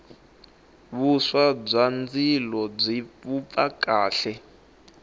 vuswa bya ndzilo byi vupfa kahle